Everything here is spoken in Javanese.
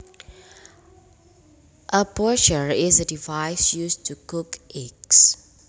A poacher is a device used to cook eggs